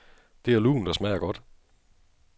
Det er lunt og smager godt.